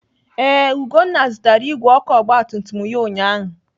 Ee, Ugonna zụtara igwe ọkụ ọgbatumtum ya ụnyaahụ.